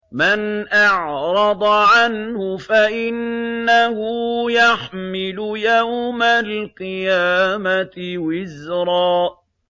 مَّنْ أَعْرَضَ عَنْهُ فَإِنَّهُ يَحْمِلُ يَوْمَ الْقِيَامَةِ وِزْرًا